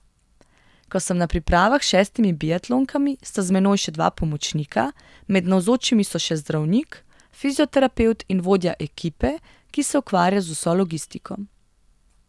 Ko sem na pripravah s šestimi biatlonkami, sta z menoj še dva pomočnika, med navzočimi so še zdravnik, fizioterapevt in vodja ekipe, ki se ukvarja z vso logistiko.